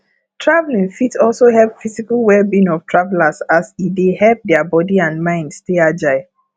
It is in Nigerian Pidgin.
traveling fit also help physical well being of travelers as e dey help their body and mind stay agile